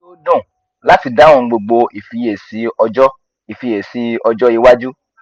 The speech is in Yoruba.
inu mi yoo dun lati dahun gbogbo ifiyesi ojo ifiyesi ojo iwaju